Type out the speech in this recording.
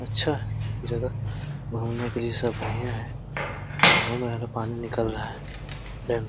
अच्छा है जगह घूमने के लिए सब बढ़ियाँ है। घूम रहें हैं तो पानी निकल रहा है।